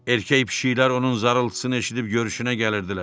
Erkək pişiklər onun zarıltısını eşidib görüşünə gəlirdilər.